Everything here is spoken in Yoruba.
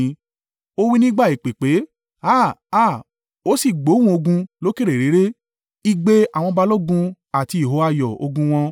Ó wí nígbà ìpè pé, Háà! Háà! Ó sì gbóhùn ogun lókèèrè réré, igbe àwọn balógun àti ìhó ayọ̀ ogun wọn.